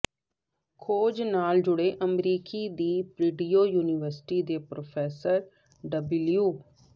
ਖੋਜ ਨਾਲ ਜੁੜੇ ਅਮਰੀਕੀ ਦੀ ਪ੍ਰਡਿਊ ਯੂਨੀਵਰਸਿਟੀ ਦੇ ਪ੍ਰੋਫੈਸਰ ਡਬਿਲਊ